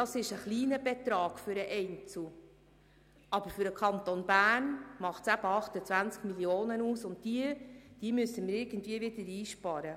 Das ist ein kleiner Betrag für den Einzelnen, aber für den Kanton Bern macht es eben 28 Mio. Franken aus, und diese müssten wir wieder irgendwie einsparen.